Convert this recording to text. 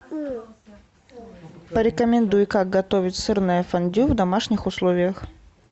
порекомендуй как готовить сырное фондю в домашних условиях